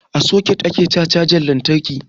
A soket ake saka cajan lantarki